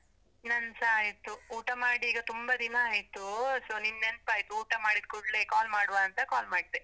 ನನ್ದುಸ ಆಯ್ತು, ಊಟ ಮಾಡಿ ಈಗ ತುಂಬ ದಿನ ಆಯ್ತು, so ನಿಮ್ ನೆನ್ಪಾಯ್ತು, ಊಟ ಮಾಡಿದ್ ಕೂಡ್ಲೆ call ಮಾಡುವ ಅಂತ call ಮಾಡ್ಡೆ.